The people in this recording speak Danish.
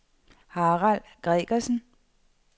Harald Gregersen